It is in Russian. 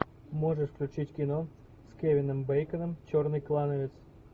можешь включить кино с кевином бейконом черный клановец